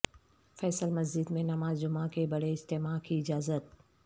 فیصل مسجد میں نماز جمعہ کے بڑے اجتماع کی اجازت